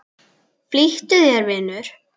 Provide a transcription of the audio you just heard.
Flýttu þér, vinur.